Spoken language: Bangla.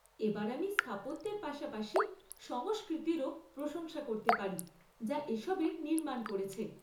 এবার আমি স্থাপত্যের পাশাপাশি সংস্কৃতিরও প্রশংসা করতে পারি যা এসবের নির্মাণ করেছে।